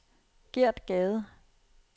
Gert Gade